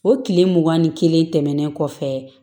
O tile mugan ni kelen tɛmɛnen kɔfɛ